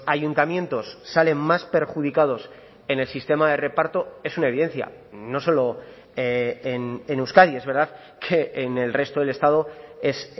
ayuntamientos salen más perjudicados en el sistema de reparto es una evidencia no solo en euskadi es verdad que en el resto del estado es